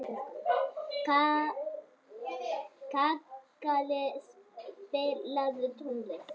Kakali, spilaðu tónlist.